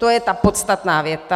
To je ta podstatná věta.